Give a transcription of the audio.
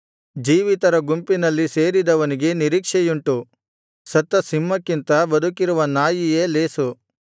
ಜೀವಿತರ ಗುಂಪಿನಲ್ಲಿ ಸೇರಿದವನಿಗೆ ನಿರೀಕ್ಷೆಯುಂಟು ಸತ್ತ ಸಿಂಹಕ್ಕಿಂತ ಬದುಕಿರುವ ನಾಯಿಯೇ ಲೇಸು